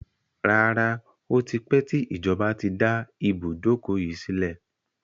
Rárá, Ó ti pẹ tí ìjọba tí dá ibùdókọ̀ yìí sílẹ̀.